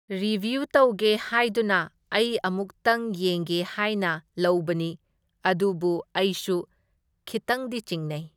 Review ꯇꯧꯒꯦ ꯍꯥꯢꯗꯨꯅ ꯑꯩ ꯑꯃꯨꯛꯇꯪ ꯌꯦꯡꯒꯦ ꯍꯥꯢꯅ ꯂꯧꯕꯅꯤ, ꯑꯗꯨꯕꯨ ꯑꯩꯁꯨ ꯈꯤꯇꯪꯗꯤ ꯆꯤꯡꯅꯩ꯫